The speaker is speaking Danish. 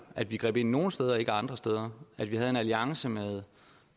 at vi greb ind nogle steder og ikke andre steder at vi havde en alliance med